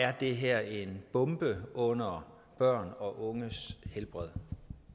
er det her en bombe under børn og unges helbred